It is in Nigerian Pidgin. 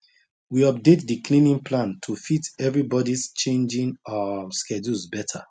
we update the cleaning plan to fit everybodys changing um schedules better